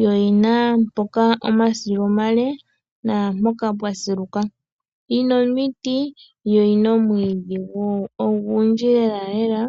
yo oyina wo omasilu omale naampoka mpwasiluka. Yina omiti yo oyina omwiidhi ogudji lela lela.